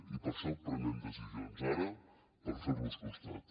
i per això prenem decisions ara per fer los costat